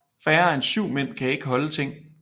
Færre end syv Mænd kan ikke holde Ting